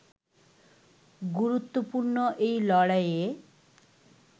গুরুত্বপূর্ণ এই লড়াইয়ে